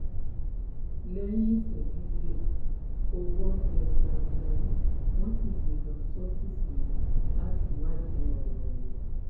lẹ́yìn ìṣẹ́jú díẹ̀ owó tẹ̀ jágunlábí wọ́n sì gbé e lọ ṣọ́fíìsì wọn láti wádìí ọ̀rọ̀ wò